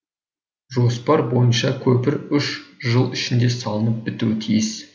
жоспар бойынша көпір үш жыл ішінде салынып бітуі тиіс